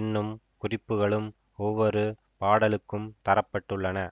என்னும் குறிப்புகளும் ஒவ்வொரு பாடலுக்கும் தர பட்டுள்ளன